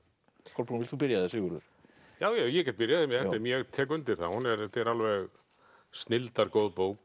Kolbrún vilt þú byrja eða Sigurður já já ég get byrjað ég tek undir það þetta er alveg snilldar góð bók